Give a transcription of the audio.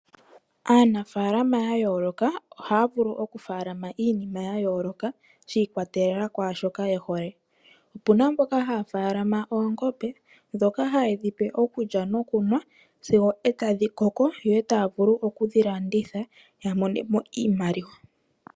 Aanafalama ya yooloka ohaya vulu okufaalama iinima ya yooloka shi ikwatelela kwaa shoka ye hole. Opu na mbokahaya faalama oongombe ndhoka haye dhi pe okulya nokunwa sigo e tadhi koko yo e taya vulu okudhi landitha ya mone mo iimaliwa.